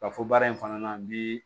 Ka fɔ baara in fana bi